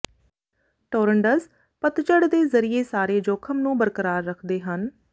ਟੋਰਨਡਜ਼ ਪਤਝੜ ਦੇ ਜ਼ਰੀਏ ਸਾਰੇ ਜੋਖਮ ਨੂੰ ਬਰਕਰਾਰ ਰੱਖਦੇ ਹਨ